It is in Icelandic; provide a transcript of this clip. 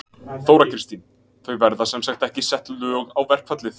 Þóra Kristín: Það verða sem sagt ekki sett lög á verkfallið?